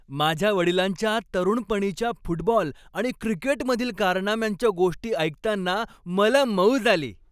माझ्या वडिलांच्या तरुणपणीच्या फुटबॉल आणि क्रिकेटमधील कारनाम्यांच्या गोष्टी ऐकताना मला मौज आली.